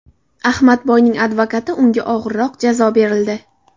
Ahmadboyning advokati: Unga og‘irroq jazo berildi .